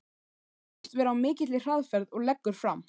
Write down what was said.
Hún virðist vera á mikilli hraðferð og leggur fram